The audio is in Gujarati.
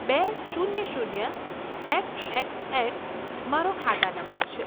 બે શૂન્ય શૂન્ય એક્સ એક્સ એક્સ મારો ખાતા નંબર છે.